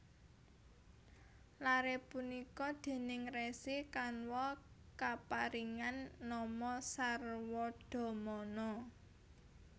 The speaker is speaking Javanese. Lare punika déning Resi Kanwa kaparingan nama Sarwadamana